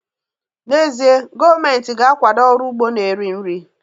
N'ezie, gọọmentị ga-akwado ọrụ ugbo na-eri nri